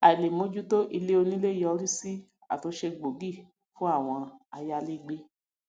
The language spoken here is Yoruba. àìlèmójútó ilé onílé yọrí sí àtúnṣe gbóògì fún àwọn ayálégbé